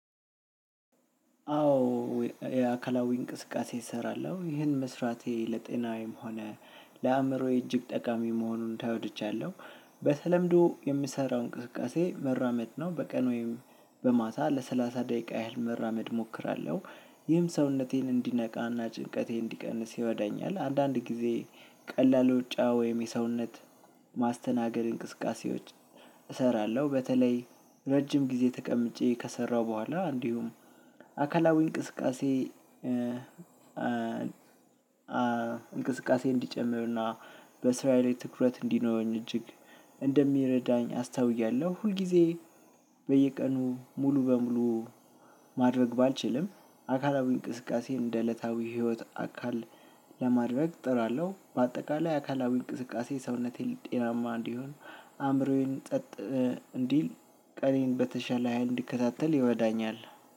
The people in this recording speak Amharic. አዎ የአካላዊ እንቅስቃሴ እሰራለሁ ይህን መስራቴ ለጤናዬም ሆነ ለአእምሮዬ እጅግ ጠቃሚ መሆኑን ተረድቻለሁ። በተለምዶ የምሰራው እንቅስቃሴ መራመድ ነው በቀን ወይም በማታ ለሰላሳ ደቂቃ ያህል መራመድ እሞክራለሁ። ይህም ሰውነቴን እንዲነቃና ጭንቀቴ እንዲቀንስ ይረዳኛል አንዳንድ ጊዜ ቀላል ሩጫ ወይም የሰውነት ማስተናገድ እንቅስቃሴዎች እሰራለሁ። በተለይ ረጅም ጊዜ ተቀምጬ ከሰራሁ በኋላ እንዲሁም አካላዊ እንቅስቃሴ እ እንቅስቃሴ እንዲጨምርና በስራዬ ላይ ትኩረት እንዲኖረኝ እጅግ እንደሚረዳኝ አስተውያለሁ። ሁል ጊዜ በየቀኑ ሙሉ በሙሉ ማድረግ ባልችልም አካላዊ እንቅስቃሴ እንደ እለታዊ ህይወት አካል ለማድረግ እጥራለሁ። በአጠቃላይ አካላዊ እንቅስቃሴ ሰውነቴን ል ጤናማ እንዲሆን አእምሮዬን ጸጥ እንዲል ቀኔን በተሻለ ሀይል እንድከታተል ይረዳኛል።